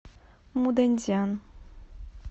муданьцзян